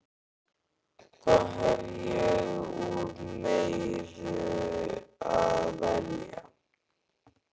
Þá hef ég úr meiru að velja.